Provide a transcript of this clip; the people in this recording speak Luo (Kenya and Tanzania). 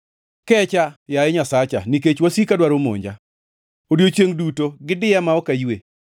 Kecha, yaye Nyasacha, nikech wasika dwaro monja; odiechiengʼ duto gidiya ma ok aywe.